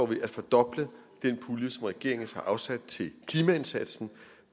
vi at fordoble den pulje som regeringen har afsat til klimaindsatsen